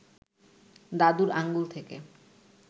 দাদুর আঙুল থেকে